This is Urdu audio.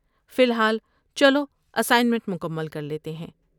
فی الحال، چلو اسائنمنٹ مکمل کر لیتے ہیں۔